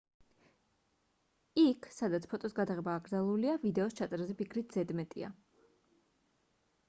იქ სადაც ფოტოს გადაღება აკრძალულია ვიდეოს ჩაწერაზე ფიქრიც ზედმეტია